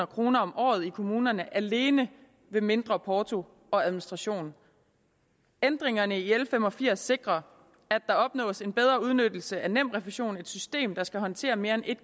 kroner om året i kommunerne alene ved mindre porto og administration ændringerne i l fem og firs sikrer at der opnås en bedre udnyttelse af nemrefusion et system der skal håndtere mere end en